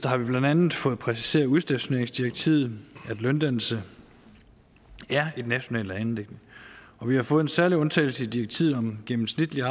har vi blandt andet fået præciseret udstationeringsdirektivet og at løndannelse er et nationalt anliggende og vi har fået en særlig undtagelse i direktivet om gennemsigtige